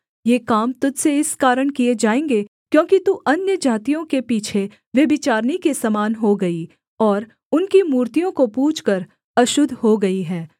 ये काम तुझ से इस कारण किए जाएँगे क्योंकि तू अन्यजातियों के पीछे व्यभिचारिणी के समान हो गई और उनकी मूर्तियों को पूजकर अशुद्ध हो गई है